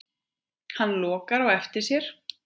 Hann lokar á eftir sér.